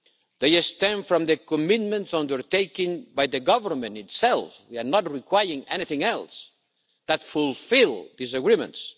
They have stemmed from the commitments undertaken by the government itself we are not requiring anything else that fulfil these agreements.